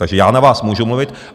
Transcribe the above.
Takže já na vás můžu mluvit.